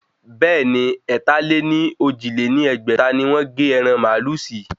Bẹ́ẹ̀ni, ẹ̀ta-lé-ní-ojì lé ní ẹgbẹ́ta ni wọ́n gé ẹran màálù sí